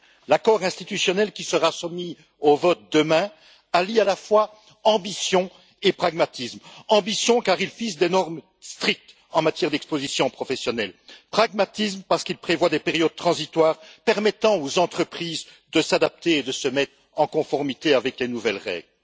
L'accord institutionnel qui sera soumis au vote demain allie à la fois ambition et pragmatisme. Ambition, car il fixe des normes strictes en matière d'exposition professionnelle. Pragmatisme, parce qu'il prévoit des périodes transitoires permettant aux entreprises de s'adapter et de se mettre en conformité avec les nouvelles règles.